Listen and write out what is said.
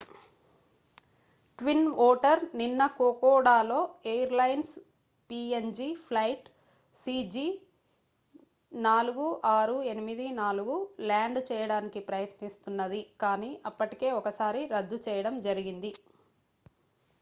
twin otter నిన్న కోకోడాలో airlines png flight cg4684 land చేయడానికి ప్రయత్నిస్తున్నది కాని అప్పటికే ఒకసారి రద్దు చేయడం జరిగింది